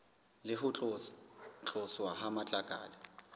le ho tloswa ha matlakala